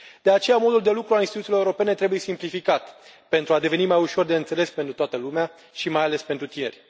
De aceea, modul de lucru al instituțiilor europene trebuie simplificat, pentru a deveni mai ușor de înțeles pentru toată lumea și, mai ales, pentru tineri.